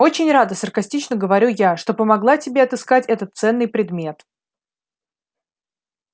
очень рада саркастично говорю я что помогла тебе отыскать этот ценный предмет